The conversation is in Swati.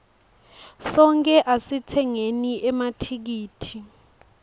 sonkhe asitsengeni emathikithi